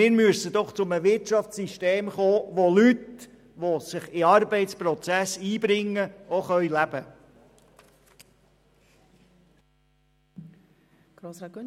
Wir müssen aber zu einem Wirtschaftssystem kommen, welches Leuten, die sich in den Arbeitsprozess einbringen, davon zu leben erlaubt.